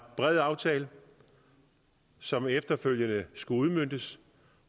bred aftale som efterfølgende skulle udmøntes